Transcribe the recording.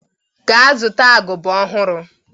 Ga zụta agụba ọhụrụ.